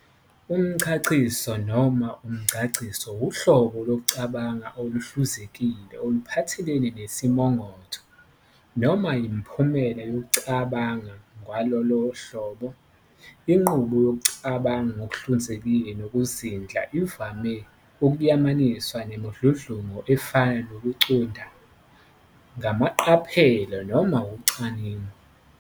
Umchaciso, noma umchachiso, uhlobo lokucabanga okuhluzekile okuphathelene nesimongotho, noma imiphumela yokucabanga kwalolo hlobo. Inqubo yokucabanga ngokuhluzekile nokuzindla ivame ukuyamaniswa nemidludlungu efana nokucunda ngamaqaphelo noma ucwaningo.